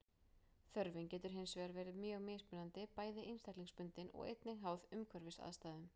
Þörfin getur hins vegar verið mjög mismunandi, bæði einstaklingsbundin og einnig háð umhverfisaðstæðum.